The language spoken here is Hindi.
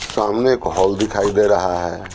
सामने एक हॉल दिखाई दे रहा है।